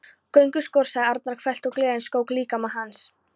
Gönguskór! sagði Arnar hvellt og gleðin skók líkama hans.